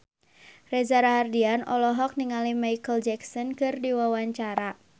Reza Rahardian olohok ningali Micheal Jackson keur diwawancara